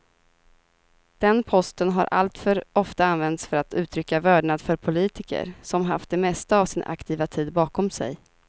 Den posten har alltför ofta använts för att uttrycka vördnad för politiker som haft det mesta av sin aktiva tid bakom sig.